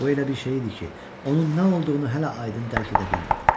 Bu elə bir şey idi ki, onun nə olduğunu hələ aydın dərk edə bilmirdim.